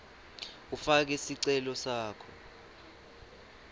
ufake sicelo sakho